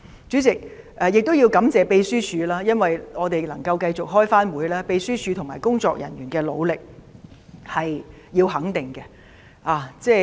主席，我亦要感謝秘書處，因為我們能夠繼續開會，秘書處和工作人員的努力必須予以肯定。